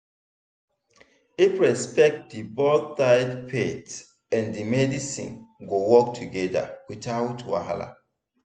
if respect dey both sides faith and medicine go work together without wahala.